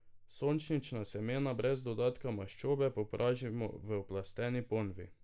Sončnična semena brez dodatka maščobe popražimo v oplasteni ponvi.